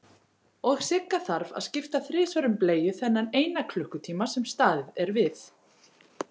Og Sigga þarf að skipta þrisvar um bleiu þennan eina klukkutíma sem staðið er við.